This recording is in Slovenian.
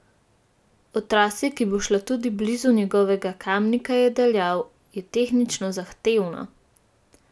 O trasi, ki bo šla tudi blizu njegovega Kamnika, je dejal: 'Je tehnično zahtevna.